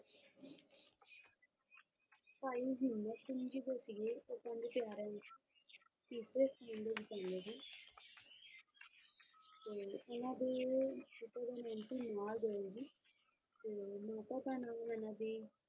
ਭਾਈ ਹਿੰਮਤ ਸਿੰਘ ਜੀ ਜੋ ਸੀਗੇ ਉਹ ਪੰਜ ਪਿਆਰਿਆਂ ਵਿੱਚੋਂ ਤੀਸਰੇ ਸਥਾਨ ਦੇ ਹਨ ਤੇ ਉਹਨਾਂ ਦੇ ਪਿਤਾ ਦਾ ਨਾਮ ਸੀ ਜੀ ਤੇ ਮਾਤਾ ਦਾ ਨਾਮ ਲੈਣਾ ਸੀ